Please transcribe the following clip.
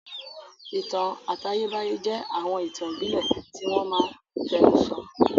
Ìtàn àtayébáyé jẹ́ àwọn ìtàn ìbílẹ̀ tí wọ́n máa n fẹnu sọ